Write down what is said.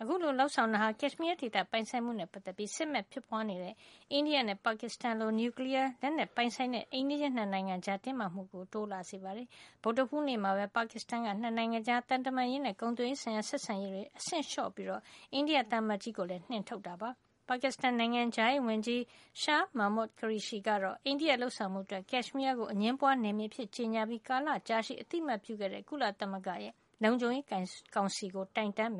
အခုလို လုပ်ဆောင်မှုက ကက်ရှ်မီးယားဒေသ ပိုင်ဆိုင်မှုနဲ့ ပတ်သက်ပြီး စစ်မက်ဖြစ်ပွားနေတဲ့ အိန္ဒိယနဲ့ ပါကစ္စတန်လို နျူကလီယား လက်နက်ပိုင်ဆိုင်ကြတဲ့ အိမ်နီးချင်း ၂ နိုင်ငံကြား တင်းမာမှုတွေ တိုးလာစေတာပါ။ ဗုဒ္ဓဟူးနေ့မှာပဲ ပါကစ္စတန်က နှစ်နိုင်ငံကြား သံတမန်ရေးနဲ့ ကုန်သွယ်ရေးဆိုင်ရာ ဆက်ဆံရေးတွေကို အဆင့်လျှော့ချလိုက်ပြီးတဲ့နောက် အိန္ဒိယ သံအမတ်ကြီးကိုလည်း နှင်ထုတ်လိုက်တာ ဖြစ်ပါတယ်။ ပါကစ္စတန် နိုင်ငံခြားရေးဝန်ကြီး Shah Mehmood Qureshi ကတော့ အိန္ဒိယရဲ့ လုပ်ဆောင်မှုအတွက် ကက်ရှ်မီးယားကို အငြင်းပွားနယ်မြေအဖြစ် ကြေညာပြီး ကာလကြာရှည် အသိမှတ်ပြုခဲ့တဲ့ ကုလသမဂ္ဂရဲ့ လုံခြုံရေး ကောင်စီကို တိုင်တန်းမ